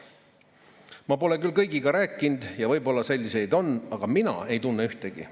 Ma pole küll kõigiga rääkinud ja võib-olla selliseid on, aga mina ei tunne ühtegi.